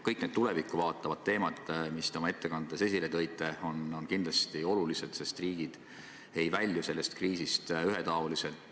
Kõik need tulevikku vaatavad teemad, mis te oma ettekandes esile tõite, on kindlasti olulised, sest riigid ei välju sellest kriisist ühetaoliselt.